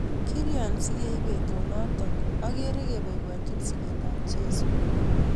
Kilya sikeiip petut notok ageroo kepaipachii siket ap jeiso